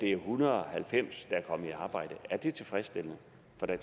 er en hundrede og halvfems der er kommet i arbejde er det tilfredsstillende